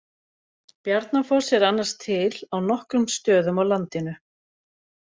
Bjarnafoss er annars til á nokkrum stöðum á landinu.